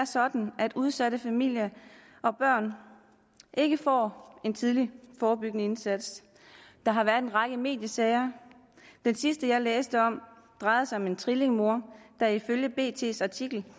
sådan at udsatte familier og børn ikke får en tidlig forebyggende indsats der har været en række mediesager den sidste jeg læste om drejede sig om en trillinger der ifølge artiklen